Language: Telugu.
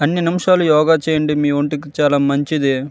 కొన్ని నిమషాలు యోగా చేయండి మీ ఒంటికి మంచిది.